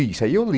Isso aí eu li.